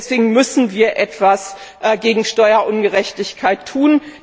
Deswegen müssen wir etwas gegen Steuerungerechtigkeit tun.